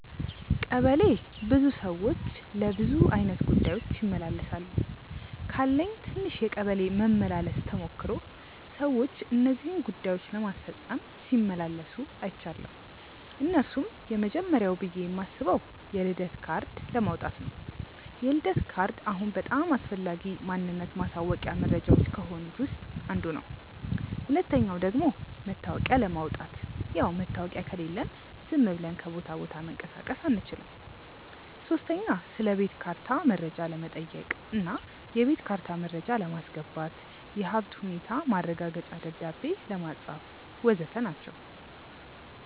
ቀበሌ ብዙ ሰዎች ለብዙ አይነት ጉዳዮች ይመላለሳሉ። ካለኝ ትንሽ የቀበሌ መመላለስ ተሞክሮ ሰዎች እነዚህን ጉዳዮች ለማስፈጸም ሲመላለሱ አይችያለው። እነርሱም፦ የመጀመርያው ብዬ ማስበው የልደት ካርድ ለማውጣት ነው፤ የልደት ካርድ አሁን በጣም አስፈላጊ ማንነት ማሳወቂያ መረጃዎች ከሆኑት ውስጥ አንዱ ነው። ሁለተኛው ደግሞ መታወቂያ ለማውጣት፣ ያው መታወቂያ ከሌለን ዝም ብለን ከቦታ ቦታ መንቀሳቀስ አንችልም። ሶስተኛ ስለቤት ካርታ መረጃ ለመጠየቅ እና የቤት ካርታ መረጃ ለማስገባት፣ የሀብት ሁኔታ ማረጋገጫ ደብዳቤ ለማጻፍ.... ወዘተ ናቸው።